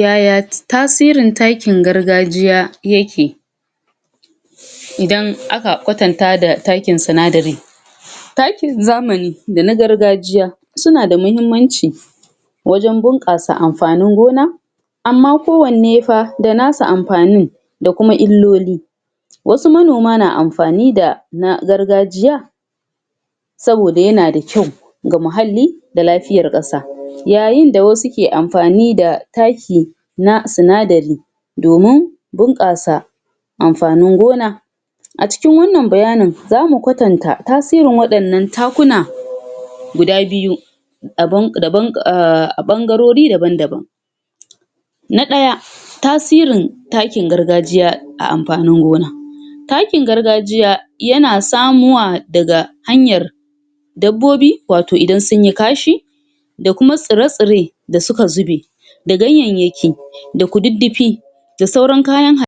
yaya ti tasirin takin gargajiya yake idan aka kwatanta da takin sinadari takin zamani da na gargajiya suna da mahimmanci wajan bunƘasa anfanin gona amma kowanne fah da nasa anfanin da kuma illoli wasu manoma na anfani da na gargajiya saboda yana da kyau ga muhalli da lafiyar Ƙasa, yayinda wasu ke anfanida taki na sinadari domin bunƘasa anfanin gona acikin wannan bayanin zamu kwatanta tasirin waɗannan takuna gauda biyu a ɓangarori daban daban na daya tasirin takin garga jiya a anfanin gona takin gargajiya yana samuwa daga hanyar dabbobi wato idan sunyi kashi da nma tsira tsire da suka zube da ganyayyaki da kududdufi da sauran kayan ha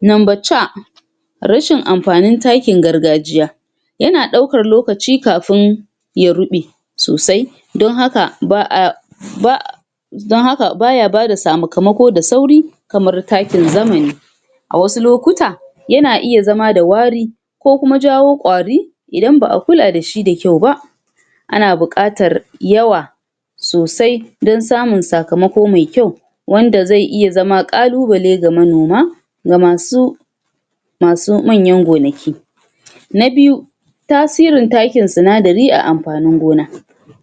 number C rashin anfanin takin gargajiya yana ɗaukar lokaci kafin ya ruɓe sosai don haka ba'a don haka baya ba m sakamako da sauri kamar takin zamani a wasu lokuta yana iya zam da wari kokuma jawo ƙwari idan ba'a kula da shi da kyau ba ana buƙatar yawa sosai dan samun sakamako mai kyau wanda zai iya zama ƙaluɓale ga manoma ga masu masu manyan gonaki na biyu tasirin takin sinadari a anfanin gona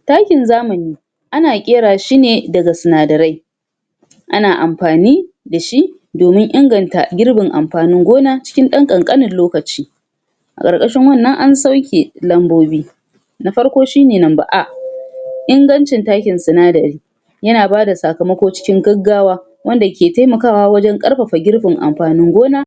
takin zamani ana ƙera shi ne daga sina darai ana anfani da shi domin inganta girbin anfanin gona cikin ɗan ƙanƙanin lokaci a karkashin wannan an sauke lambobi na farko shi ne number a, ingancin takin sinadari yana bada sakamako cikin gaggawa wsanda ke taimakawa wajan ƙarfafa girbin anfanin gona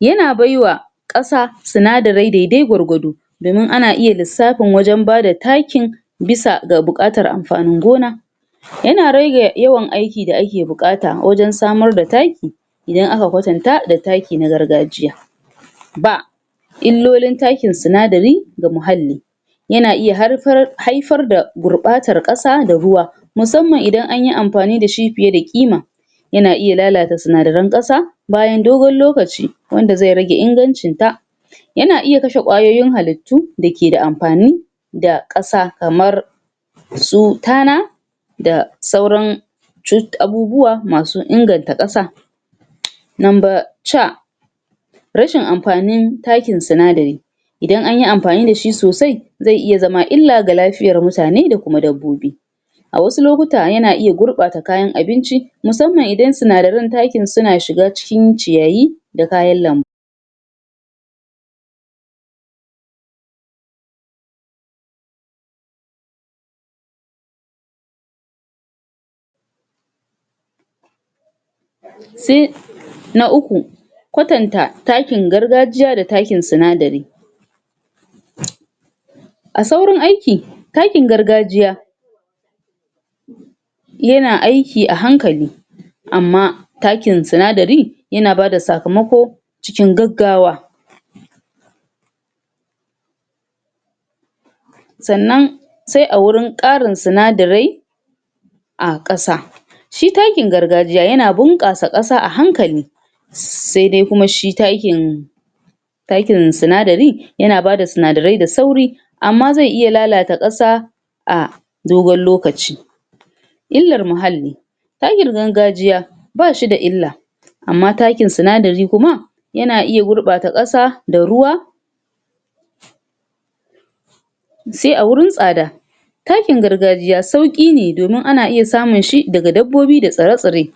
yana baiwa ƙasa sinadarai dai dai gwargwado domin ana iya lissafin wajan bada takin bisa ga buƙatar anfanin gona yana rege yawan aiki da ake buƙata wajan samar da taki idan aka kwatanta da taki na gargajiya B illolin takin sinadari ga muhalli yana iya haifar da gurɓatan ƙasa da ruwa musamman idan anyi anfani da shi fiye da ƙima yana iya lalata sinadaran ƙasa bayan dogon lokaci wanda zai rage ingancin ta yana iya kashe ƙwayoyin hallit tu dake anfani da ƙasa kamar su tana da sauran abubuwa masu inganta ƙasan number C rashin anfanin takin sinadari idan anyi anfani da shi sosai zai iya zama illa ga lafiyar mutane da kuma dabbobi wasu lokuta yana iya gurbata kayan abinci musamman idan sinadaran takin suna shiga cikin ciyayi da kayan lambu sai na uku kwatanta takin gargajiya da takin sinadari a saurin aiki takin gargajiya yana aiki a hankali amma takin sinadari yan bada sakamako cikin gaggawa sanan sai awurin ƙarin sinadarai a ƙasa shi takin gargajiya yana bunƙasa ƙasa a hankali saidai kuma shi takin takin sinadari yana bada sinadarai MMA ZAI IYA LALATA ƙASA a dogon lokaci ollar muhalli takin gargajiya bashi da illa amma taikn sinsdari kuma yana iya gurbata ƙasa da ruwa sai awurin tsada takin gargajiya sauƙine domin ana iya samun shi daga dabbobi datsre tsire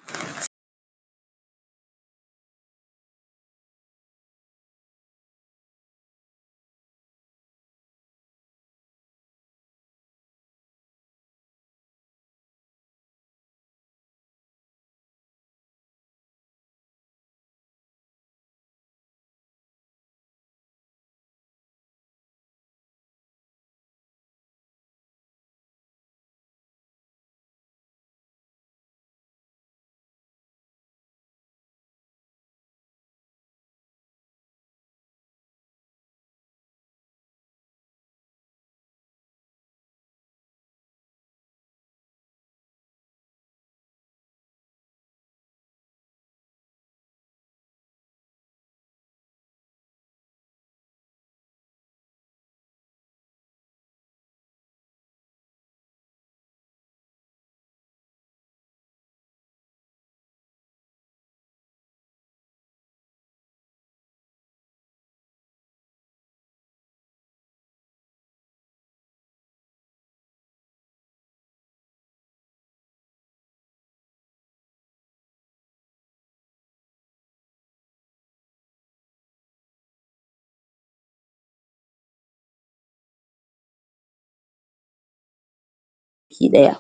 ki ɗaya